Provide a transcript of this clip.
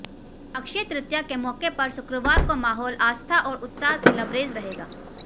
अक्षय तृतीया के मौके पर शुक्रवार को माहौल आस्था और उत्साह से लबरेज रहेगा